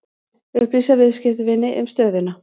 Upplýsa viðskiptavini um stöðuna